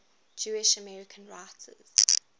jewish american writers